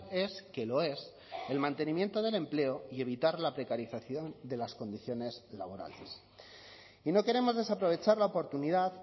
es que lo es el mantenimiento del empleo y evitar la precarización de las condiciones laborales y no queremos desaprovechar la oportunidad